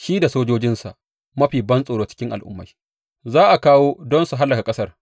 Shi da sojojinsa, mafi bantsoro cikin al’ummai, za a kawo don su hallaka ƙasar.